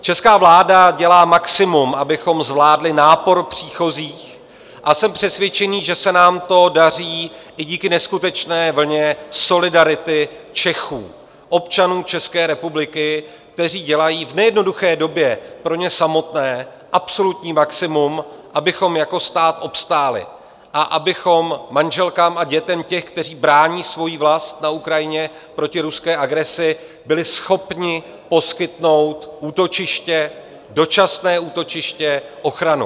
Česká vláda dělá maximum, abychom zvládli nápor příchozích, a jsem přesvědčený, že se nám to daří i díky neskutečné vlně solidarity Čechů, občanů České republiky, kteří dělají v nejednoduché době pro ně samotné absolutní maximum, abychom jako stát obstáli a abychom manželkám a dětem těch, kteří brání svoji vlast na Ukrajině proti ruské agresi, byli schopni poskytnout útočiště, dočasné útočiště, ochranu.